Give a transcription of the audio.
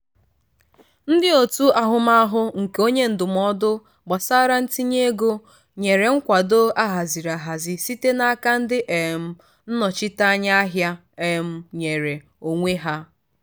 ndị otu ahụmahụ nke onye ndụmọdụ gbasara ntinye ego nyere nkwado ahaziri ahazi site n'aka ndị um nnọchiteanya ahịa um nyere onwe ha.